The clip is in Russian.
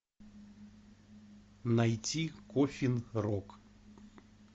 найти коффин рок